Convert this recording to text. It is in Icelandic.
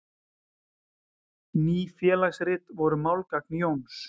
Ný félagsrit voru málgagn Jóns.